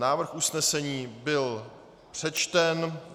Návrh usnesení byl přečten.